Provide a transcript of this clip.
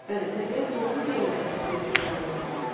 Bəli, təbiət doğru deyirlər ki, sirli bir aləmdir.